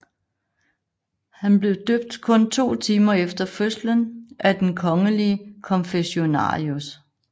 Han blev døbt kun to timer efter fødslen af den kongelige konfessionarius